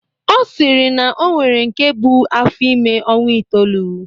Ọ sịrị na o nwere nke bu afọ ime ọnwa itoolu